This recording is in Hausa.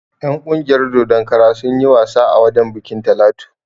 En ƙungiyar dodon kara sunyi wasa a wajen bikin Talatu